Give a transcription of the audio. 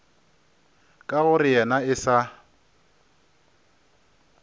ka gore yena e sa